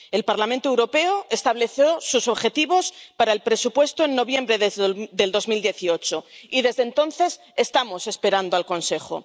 El Parlamento Europeo estableció sus objetivos para el presupuesto en noviembre de 2018, y desde entonces estamos esperando al Consejo.